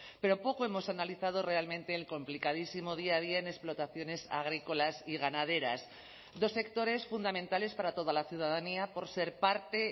pero poco hemos analizado realmente el complicadísimo día a día en explotaciones agrícolas y ganaderas dos sectores fundamentales para toda la ciudadanía por ser parte